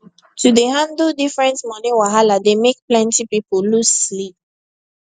to dey handle different money wahala dey make plenty people lose sleep